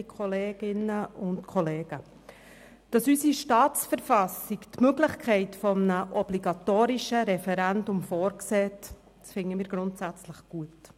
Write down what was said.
Wir finden es grundsätzlich gut, dass unsere Staatsverfassung die Möglichkeit eines obligatorischen Referendums vorsieht.